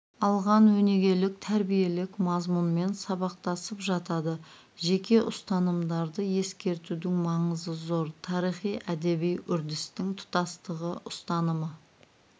алған өнегелік тәрбиелік мазмұнмен сабақтасып жатады жеке ұстанымдарды ескерудің маңызы зор тарихи-әдеби үрдістің тұтастығы ұстанымы